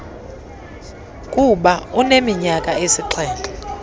kuba neminyaka esixhenxe